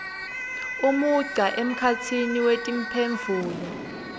umugca emkhatsini wetimphendvulo